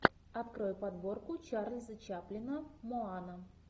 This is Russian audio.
открой подборку чарльза чаплина моана